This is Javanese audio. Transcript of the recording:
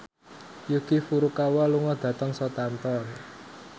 Yuki Furukawa lunga dhateng Southampton